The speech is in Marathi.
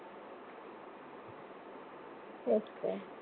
तेच तर